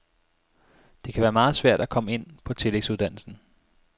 Det kan være meget svært at komme ind på tillægsuddannelsen.